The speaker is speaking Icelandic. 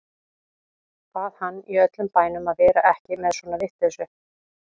Bað hann í öllum bænum að vera ekki með svona vitleysu.